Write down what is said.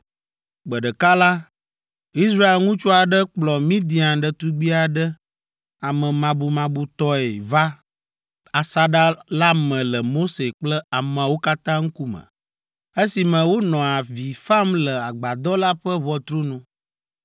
Gbe ɖeka la, Israel ŋutsu aɖe kplɔ Midian ɖetugbi aɖe amemabumabutɔe va asaɖa la me le Mose kple ameawo katã ŋkume, esime wonɔ avi fam le Agbadɔ la ƒe ʋɔtru nu.